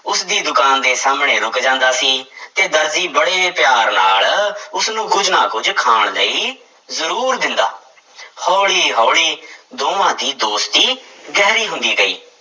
ਉਸਦੀ ਦੁਕਾਨ ਦੇ ਸਾਹਮਣੇ ਰੁੱਕ ਜਾਂਦਾ ਸੀ ਤੇ ਦਰਜੀ ਬੜੇ ਪਿਆਰ ਨਾਲ ਉਸਨੂੰ ਕੁੱਝ ਨਾ ਕੁੱਝ ਖਾਣ ਲਈ ਜ਼ਰੂਰ ਦਿੰਦਾ ਹੌਲੀ ਹੌਲੀ ਦੋਵਾਂ ਦੀ ਦੋਸਤੀ ਗਹਿਰੀ ਹੁੰਦੀ ਗਈ,